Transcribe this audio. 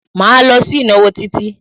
Máa lọ sí ìnáwó Títí.